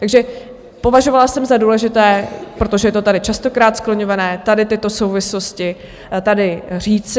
Takže považovala jsem za důležité, protože je to tady častokrát skloňováno, tady tyto souvislosti tady říci.